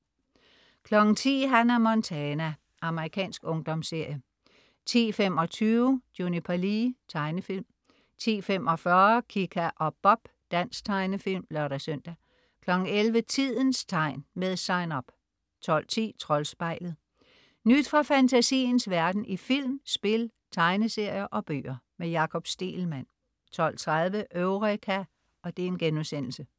10.00 Hannah Montana. Amerikansk ungdomsserie 10.25 Juniper Lee. Tegnefilm 10.45 Kika og Bob. Dansk tegnefilm (lør-søn) 11.00 Tidens Tegn. Med Sign Up 12.10 Troldspejlet. Nyt fra fantasiens verden i film, spil, tegneserier og bøger. Jakob Stegelmann 12.30 Eureka*